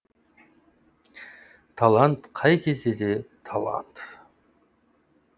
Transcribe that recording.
талант қай кезде де талант